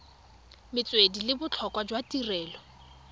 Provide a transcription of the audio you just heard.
metswedi le botlhokwa jwa tirelo